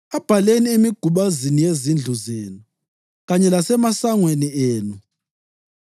Abhaleni emigubazini yezindlu zenu kanye lasemasangweni enu,